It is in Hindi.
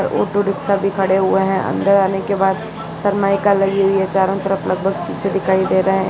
और ऑटो रिक्शा भी खड़े हुए है अंदर आने के बाद शर्माइका लगी हुई है चारों तरह लगभग शीशे दिखाई दे रहे हैं।